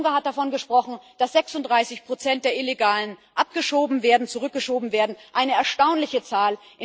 Herr Juncker hat davon gesprochen, dass 36 der Illegalen abgeschoben, zurückgeschoben werden eine erstaunliche Zahl!